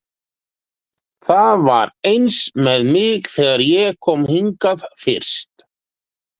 Það var eins með mig þegar ég kom hingað fyrst.